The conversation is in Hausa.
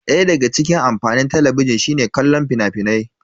Daya daga cikin amfanin Talabijin shine kallon fina-finai.